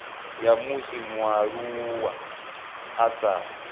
ya musi mualuwa a sa